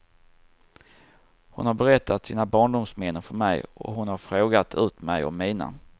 Hon har berättat sina barndomsminnen för mig och hon har frågt ut mig om mina.